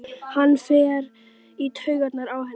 Hann fer í taugarnar á henni.